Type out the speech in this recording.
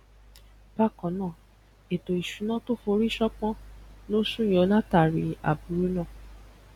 bákannáà ètò ìṣúná tó forí sán pọn lo súyọ látàárí aburú náà